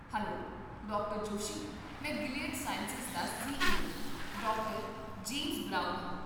hello doctor Joshi ਮੈਂ Gilead Sciences ਦਾ C E O doctor James Brown ਹਾਂ